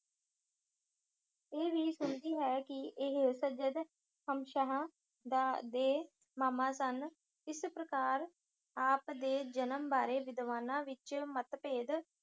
ਇਹ ਵੀ ਸੁਣੀਂਦੀ ਹੈ ਕਿ ਇਹ ਸੱਯਦ ਹਾਸ਼ਮਸ਼ਾਹ ਦਾ ਦੇ ਮਾਮਾ ਸਨ। ਇਸ ਪ੍ਰਕਾਰ ਆਪ ਦੇ ਜਨਮ ਬਾਰੇ ਵਿਦਵਾਨਾਂ ਵਿੱਚ ਮਤਭੇਦ